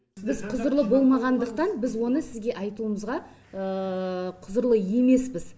біз құзырлы болмағандықтан біз оны сізге айтуымызға құзырлы емеспіз